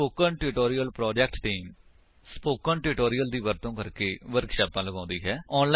spoken tutorial project team spoken tutorial ਦਾ ਵਰਤੋ ਕਰਕੇ ਵਰਕਸ਼ਾਪਾਂ ਲਗਾਉਂਦੀ ਹੈ